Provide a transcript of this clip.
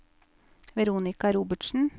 Veronika Robertsen